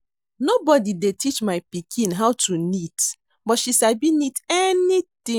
Nobody dey teach my pikin how to knit but she sabi knit anything